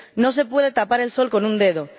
No se puede tapar el sol con un dedo.